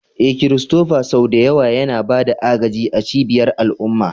Eh, Christopher sau da yawa yana ba da agaji a cibiyar al'umma.